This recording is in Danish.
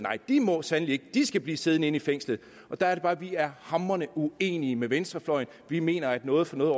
må sandelig ikke de skal blive siddende inde i fængslet der er det bare at vi er hamrende uenige med venstrefløjen vi mener at noget for noget